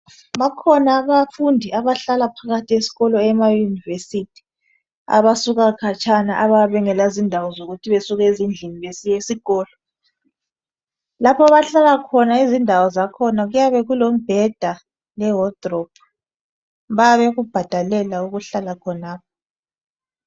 Bakhona abafundi abahlala phakathi esikolo ema Yunivesithi abasuka khatshana abayabe bengele izindawo zokuthi besuke ezindlini besiya esikolo . Lapho abahlala khona izindawo zakhona kuyabe kulombheda le wardrobe . Bayabe bekubhadalela ukuhlala khonapho.